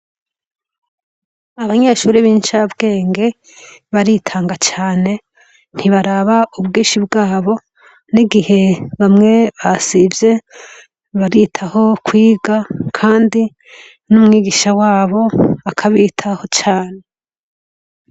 Abanyeshure b'incabwenge, baritanga cane, ntibaraba ubwinshi bwabo, n'igihe bamwe basivye, baritaho kwiga, kandi n'umwigisha wabo akabitaho cane.